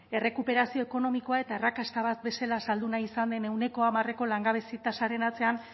errekuperazio ekonomikoa eta arrakasta bat bezala saldu nahi izan den ehuneko hamarreko langabezi tasaren atzean